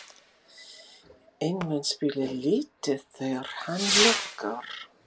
En mun spila lítið þegar hann lokar?